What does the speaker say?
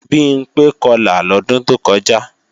Bimpé Kọlà lọ́dún tó kọjá